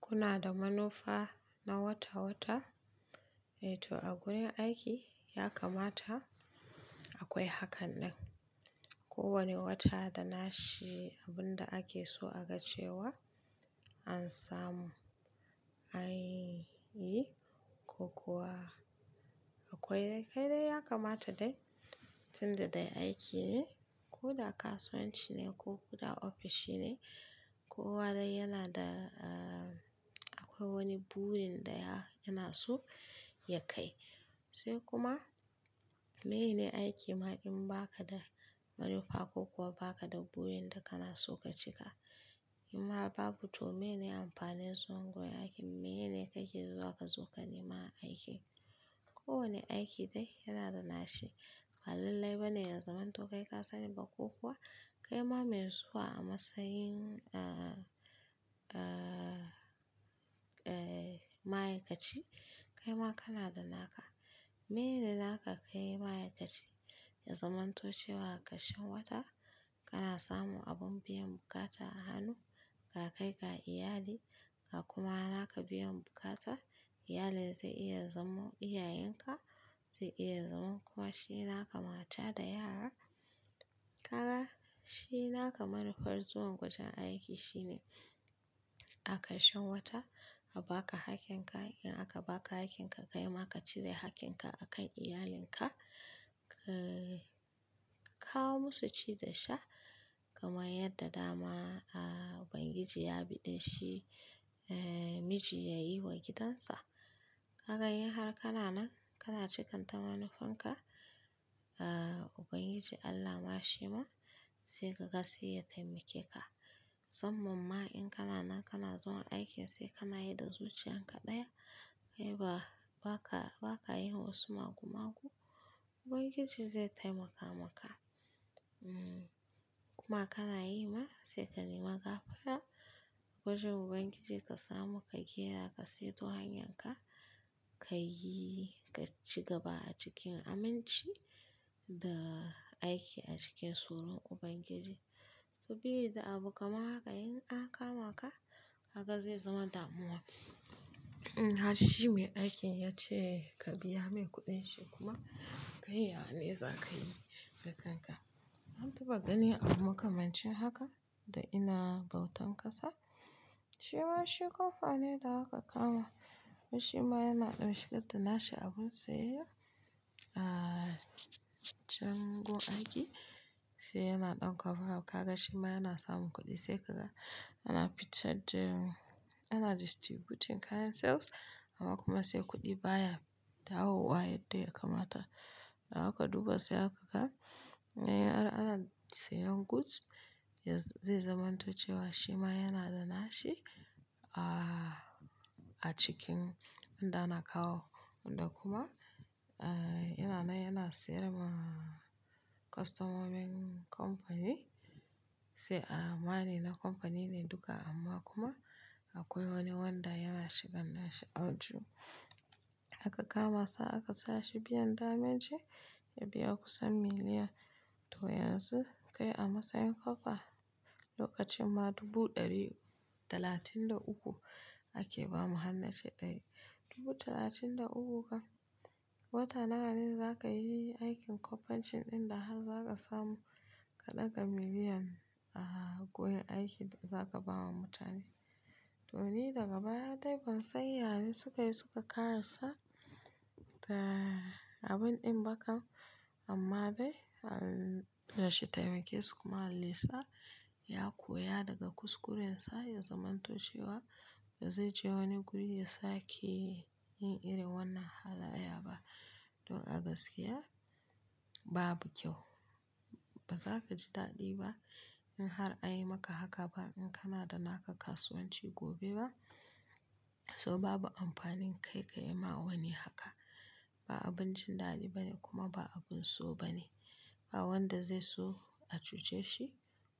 Kuna da manufa na wata-wata. To a gurin aiki ya kamata akwai hakan nan. Kowane wata da nashi abin da ake so a ga cewa an samu, an yi ko kuwa, akwai, kai dai ya kamata dai tunda dai aiki ne ko da kasuwanci ne ko kuma ofishi ne, kowa dai yana da-- akwai wani burin da yana so ya kai. Sai kuma meye ne aiki ma in baka da manufa ko kuwa baka da burin da kana so ka cika? In ba babu to meye ne amfanin zuwa wurin aiki? Meye ne kake zuwa ka zo ka nema aiki? Kowane aiki dai yana da nashi. Balallai bane ya zamanto kai ka sani ba ko kuwa kai ma mai zuwa a matsayin-- Ah-- eh ma'aikaci, kai ma kana da naka. Mene naka kai ma'aikaci, ya zamanto cewa karshen wata kana samun abin biyan buƙata a hannu ka, ka kai ga iyali ga kuma naka biyan bukata. Iyalin zai iya zamo, iyayenka, zai iya zamo kuma shi naka mata da yara. Kaga shi naka manufar zuwan wajen aiki shine, a karshen wata a baka hakkin ka. In aka baka hakkin ka, kai ma ka cire hakkin ka akan iyalinka, --kawo musu ci da sha kamar yadda dama Ubangiji ya biɗe shi miji ya yi wa gidansa. Kaga in har kana nan kana cikan ta manufanka, Ubangiji Allah ma shi ma, sai ka ga sai ya taimake ka. Musamman ma in kana nan kana zuwa aiki sai Allah ya yarda da zuciyan ka ɗaya. Kai ba, baka-baka yin wasu magu-magu. Ubangiji zai taimaka maka. Inma kana yi ma sai ka nema gafara. Wajen Ubangiji, ka samu ka iya ka seto hanyanka, ka yi ka ci gaba a cikin aminci da aiki a cikin tsoron Ubangiji. Sabili da abu kaman haka in an kama ka, kaga zai zama damuwa. Harshe mai aikin ya ce ka biya mai kuɗin shi kuma kai ya ne za ka yi da kanka? An taɓa ganin abu makamancin haka da ina bautan ƙasa? Shi ma shi kamfani da aka kama shi ma yana ɗau shigar da nashi abun sai ya-- ah-- can gun aiki, sai yana ɗaukarwa. Kaga shi ma yana samun kuɗi sai ka ga yana fitar da--, ana distributing kayan sales amma kuma sai kuɗi baya dawo wa yadda ya kamata. Haka duba sai aka ga-- yana ana siyan goods, zai zaman to cewa shi ma yana da nashi a-a acikin wanda ana kawo. Wanda kuma a-a yana nan yana sayar ma- customer wani kamfani sai a-a ware na kamfani ne duka amma kuma akwai wani wanda yana shigan nashi audu. Aka kama sa aka sa shi gehen dameji, ya biya kusan miliyan, to yanzu kai a matsayin corper, lokacin ma dubu ɗari talatin da uku ake ba mu han nace kai, dubu talatin da uku kan wata nawa ne za ka yi aikin kamfancin ɗin da har za ka samu ka ɗaga miliyan a koyon aikin da za ka ba wa mutane. To ni daga baya dai ban san ya ne suka yi suka ƙara sa ta- abun ɗin ba kan amma dai Allah shi taimake su kuma Allah yasa ya koya daga kuskurensa ya zamanto cewa ba zai je wani guri ya sake yin irin wannan halayya ba. Don a gaskiya babu kyau. Ba za ka ji daɗi ba in har an yi maka haka ba, in kana da naka kasuwanci gobe ma, saboda babu amfanin kai ka yi ma wani haka. Ba abun jin daɗi bane kuma ba abun so bane. Ba wanda zai so a cuce shi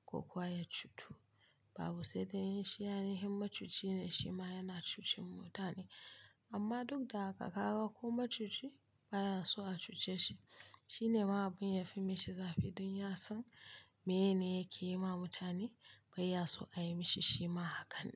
ko kuwa ya cutu. Babu, sai dai in shi ainahin ma cuci ne shi ma yana cucen mutane. Amma duk da haka ka ga kuma ma cuci baya so a cuce shi. Shi ne ma abin ya fi mishi zafi don yasan menene yake yi ma mutane bai ya so a yi mishi shi ma hakan.